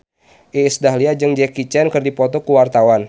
Iis Dahlia jeung Jackie Chan keur dipoto ku wartawan